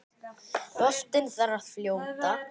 Boltinn þar að fljóta.